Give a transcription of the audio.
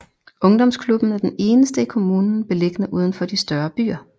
Ungdomsklubben er den eneste i kommunen beliggende udenfor de større byer